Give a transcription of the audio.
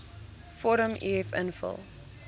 vorm uf invul